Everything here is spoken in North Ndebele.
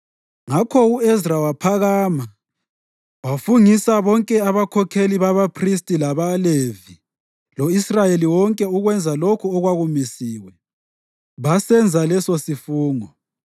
Ngakho u-Ezra waphakama wafungisa bonke abakhokheli babaphristi labaLevi lo-Israyeli wonke ukwenza lokho okwakumisiwe. Basenza lesosifungo.